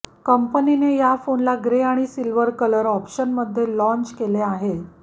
कंपनीने या फोनला ग्रे आणि सिल्वर कलर ऑप्शनमध्ये लाँच केले आहे